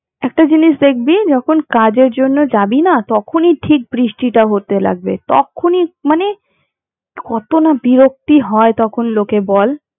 একটা জিনিস দেখবি যখন কাজের জন্য যাবি না তখনই ঠিক বৃষ্টিটা হতে লাগবে, তখনই মানে কতো না বিরক্তি হয় তখন লোকের বল?